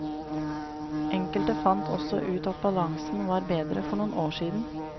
Enkelte fant også ut at balansen var bedre for noen år siden.